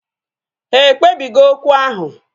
Ha ekpebi go okwu ahu